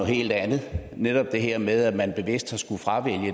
helt andet netop det her med man bevidst